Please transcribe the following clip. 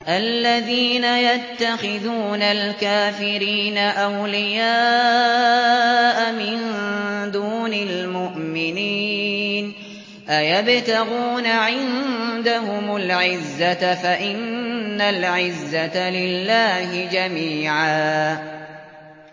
الَّذِينَ يَتَّخِذُونَ الْكَافِرِينَ أَوْلِيَاءَ مِن دُونِ الْمُؤْمِنِينَ ۚ أَيَبْتَغُونَ عِندَهُمُ الْعِزَّةَ فَإِنَّ الْعِزَّةَ لِلَّهِ جَمِيعًا